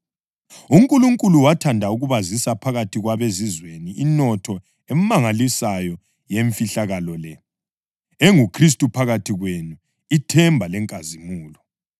UNkulunkulu wathanda ukubazisa phakathi kwabeZizweni inotho emangalisayo yemfihlakalo le, enguKhristu phakathi kwenu, ithemba lenkazimulo.